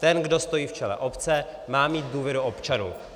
Ten, kdo stojí v čele obce, má mít důvěru občanů.